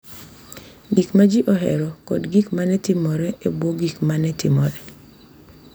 Gik ma ji ohero, kod gik ma ne otimore e bwo gik ma ne timore